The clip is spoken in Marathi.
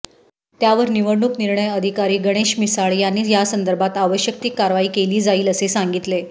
त्यावर निवडणूक निर्णय अधिकारी गणेश मिसाळ यांनी यासंदर्भात आवश्यक ती कारवाई केली जाईल असे सांगितले